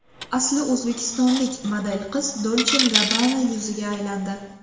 Asli o‘zbekistonlik model qiz Dolce&Gabbana yuziga aylandi.